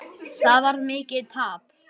Það varð mikið tap.